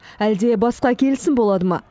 әлде басқа келісім болады ма